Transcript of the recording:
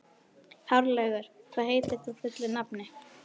Hárlaugur, hvað heitir þú fullu nafni?